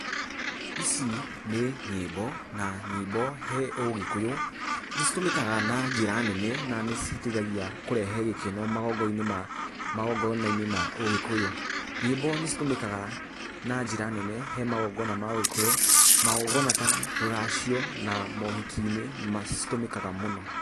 Ici nĩ nyĩmbo, na nyĩmbo he ũgĩkũyũ, nĩ citũmĩkaga na njĩra nene, na nĩcitethagio kũrehe gĩkeno magongona, magongona-inĩ ma ũgĩkũyũ. Nyĩmbo nĩ citũmĩkaga, na njĩra nene he magongona ma ũgĩkũyũ, magongona ta rũracio, na mohiki-inĩ nĩ citũmĩkaga mũno.